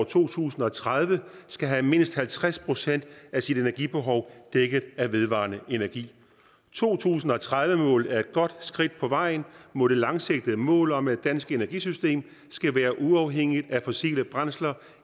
to tusind og tredive skal have mindst halvtreds procent af sit energibehov dækket af vedvarende energi to tusind og tredive målet er et godt skridt på vejen mod det langsigtede mål om at det danske energisystem skal være uafhængigt af fossile brændsler